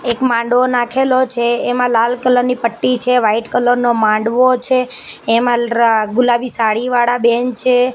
એક માંડવો નાખેલો છે એમા લાલ કલર ની પટ્ટી છે વ્હાઇટ કલર નો માંડવો છે એમા ર્ ગુલાબી સાડી વાળા બેન છે.